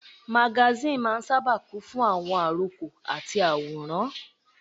Magasíìnì máa n sáábà kún fún àwọn àròkọ àti àwòrán